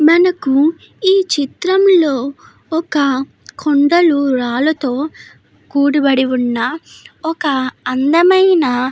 మనకు ఈ చిత్రంలో ఒక కొండలు రాళ్ళతో కూడిబడి ఉన్న ఒక అందమైన --